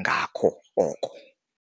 ngako oko.